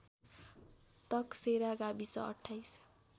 तकसेरा गाविस २८